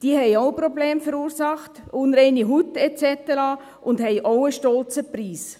Diese haben auch Probleme verursacht, unreine Haut et cetera, und haben auch einen stolzen Preis.